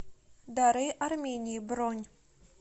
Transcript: дары армении бронь